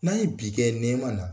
N'an ye bi kɛ nɛma na